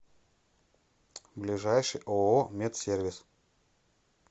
ближайший ооо медсервис